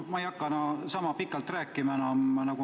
Ma ei hakka enam pikalt rääkima.